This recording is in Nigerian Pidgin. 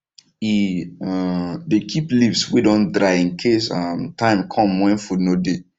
he um dey keep leaves wey don dry incase um time come when food no dey